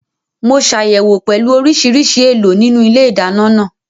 Mo ṣàyẹ̀wò pẹ̀lú oríṣiríṣi èèlò nínú ilé ìdáná náà